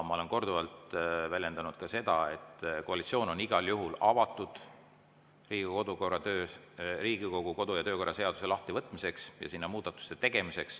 Ma olen korduvalt väljendanud ka seda, et koalitsioon on igal juhul avatud Riigikogu kodu‑ ja töökorra seaduse lahtivõtmisele ja sinna muudatuste tegemisele.